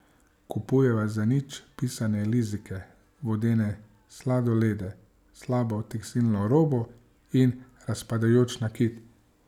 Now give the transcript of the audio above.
Kupujeva zanič pisane lizike, vodene sladolede, slabo tekstilno robo in razpadajoč nakit.